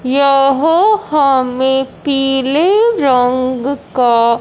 यहां हमें पीले रंग का--